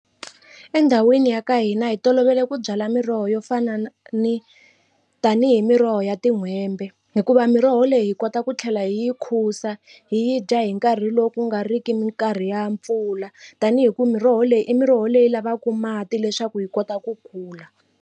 Endhawini ya ka hina hi tolovele ku byala miroho yo fana na ni tanihi miroho ya tin'hwembe hikuva miroho leyi hi kota ku tlhela hi yi khusa hi yi dya hi nkarhi lowu ku nga riki minkarhi ya mpfula tani hi ku miroho leyi i miroho leyi lavaku mati leswaku hi kota ku kula.